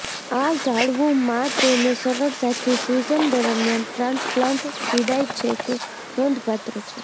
આ ઝાડવું માં તેને સરળતાથી સીઝન દરમ્યાન ટ્રાન્સપ્લાન્ટ પીડાય છે કે નોંધપાત્ર છે